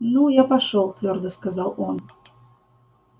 ну я пошёл твёрдо сказал он